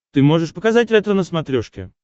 ты можешь показать ретро на смотрешке